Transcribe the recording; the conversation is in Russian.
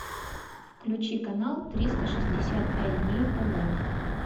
включи канал триста шестьдесят пять дней тв